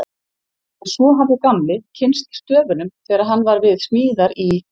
En svo hafði Gamli kynnst stöfunum þegar hann var við smíðar í